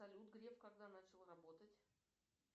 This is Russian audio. салют греф когда начал работать